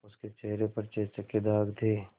उसके चेहरे पर चेचक के दाग थे